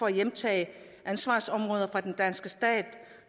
at hjemtage ansvarsområder fra den danske stat